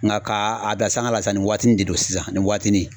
Nga ka a bila sanga la sa ni watinin de don sisan nin waatinin